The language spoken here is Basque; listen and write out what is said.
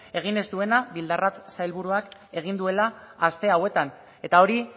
egin ez duena bildarratz sailburuak egin duela aste hauetan eta hori